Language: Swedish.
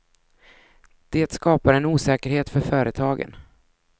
Det skapar en osäkerhet för företagen.